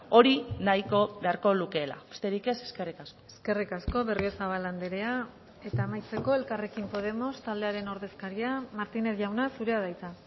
hori nahiko beharko lukeela besterik ez eskerrik asko eskerrik asko berriozabal andrea eta amaitzeko elkarrekin podemos taldearen ordezkaria martínez jauna zurea da hitza